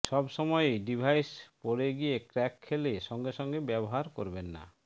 সবসময়েই ডিভাইস পড়ে গিয়ে ক্র্যাক খেলে সঙ্গে সঙ্গে ব্যবহার করবেন না